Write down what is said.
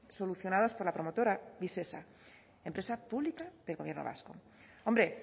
solucionados por la promotora visesa empresa pública del gobierno vasco hombre